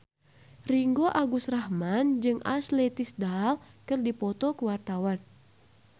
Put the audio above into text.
Ringgo Agus Rahman jeung Ashley Tisdale keur dipoto ku wartawan